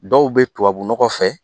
Dɔw bɛ tubabu nɔgɔ fɛ